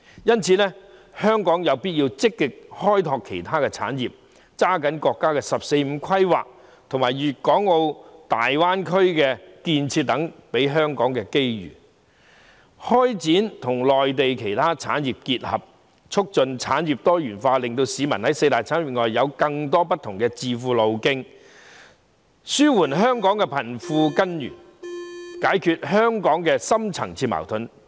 因此，香港有必要積極開拓其他產業，抓緊國家"十四五"規劃和粵港澳大灣區建設給予香港的機遇，與內地其他產業結合，促進產業多元化，令市民在四大產業以外有更多不同的致富路徑，應對香港的貧富懸殊的根源，解決香港的深層次予盾。